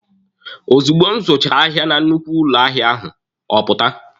Ozugbo m zụchara ahịa na nnukwu ụlọ ahịa ahụ, ọ pụta.